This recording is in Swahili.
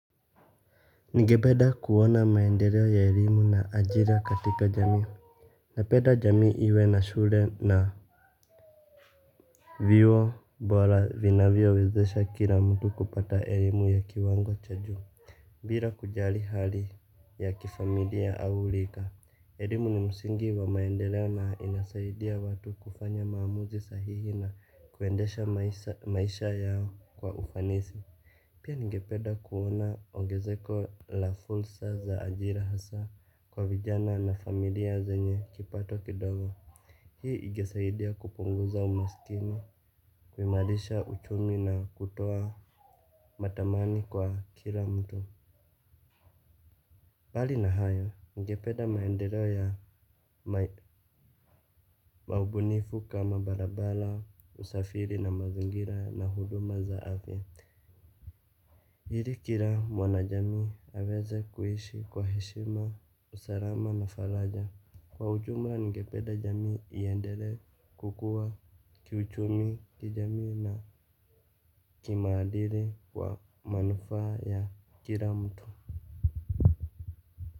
Nigependa kuona maendeleo ya elimu na ajira katika jamii. Napenda jamii iwe na shule na vyuo bora vinavyowezesha kila mtu kupata elimu ya kiwango cha juu. Bila kujali hali ya kifamilia au rika elimu ni msingi wa maendeleo na inasaidia watu kufanya maamuzi sahihi na kuendesha maisha yao kwa ufanisi. Pia ningepeda kuona ongezeko la fursa za ajira hasa kwa vijana na familia zenye kipato kidogo. Hii ingesaidia kupunguza umaskini kuimarisha uchumi na kutoa matamani kwa kila mtu mbali na hayo ningepeda maendeleo ya maubunifu kama barabara usafiri na mazingira na huduma za afya. Hili kira mwana jamii aveze kuishi kwa heshima usarama na falaja. Kwa ujumla ngepeda jamii iendele kukua kiuchumi kijamii na kimaadili kwa manufa ya kira mtu.